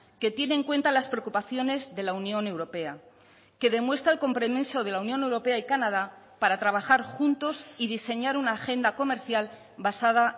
que tiene en cuenta las preocupaciones de la unión europea que demuestra el compromiso de la unión europea y canadá para trabajar juntos y diseñar una agenda comercial basada